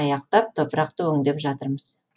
аяқтап топырақты өңдеп жатырмыз